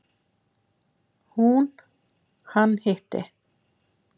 Hún: Hann hitti.